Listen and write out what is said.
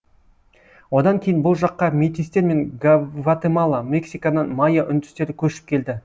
одан кейін бұл жаққа метистер мен гватемала мексикадан майя үндістері көшіп келді